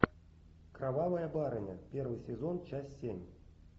кровавая барыня первый сезон часть семь